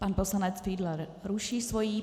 Pan poslanec Fiedler ruší svoji.